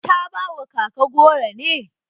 Ta ba wa kaka goro ne?